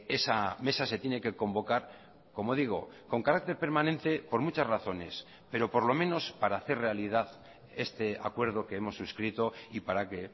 esa mesa se tiene que convocar como digo con carácter permanente por muchas razones pero por lo menos para hacer realidad este acuerdo que hemos suscrito y para que